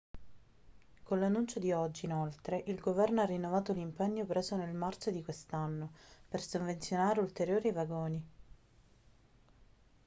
con l'annuncio di oggi inoltre il governo ha rinnovato l'impegno preso nel marzo di quest'anno per sovvenzionare ulteriori vagoni